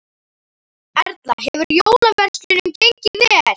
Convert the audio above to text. Erla: Hefur jólaverslunin gengið vel?